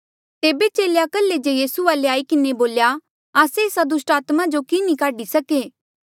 तेबे चेले कल्हे जे यीसू वाले आई किन्हें बोल्या आस्से एस्सा दुस्टात्मा जो की नी काढी सके